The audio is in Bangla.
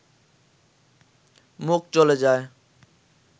মুখ চলে যায়